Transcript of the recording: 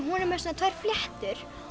hún er með svona tvær fléttur